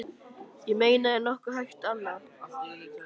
Ég meina er nokkuð hægt annað?